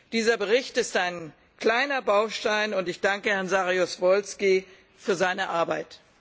Dieser Bericht ist ein kleiner Baustein, und ich danke Herrn Saryusz Wolski für seine Arbeit.